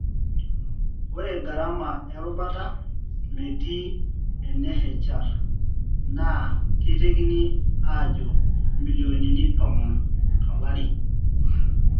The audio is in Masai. Ore garama erubata, metii ene HR na ketekini ajo milionini tomon tolari.